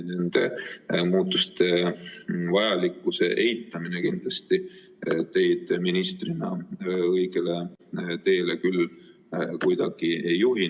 Nende muutuste vajalikkuse eitamine teid ministrina õigele teele kindlasti küll kuidagi ei juhi.